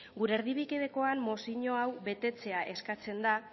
gure erdibidekoan mozio hau betetzea eskatzen da